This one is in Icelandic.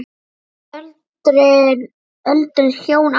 Öldruð hjón áttu hann.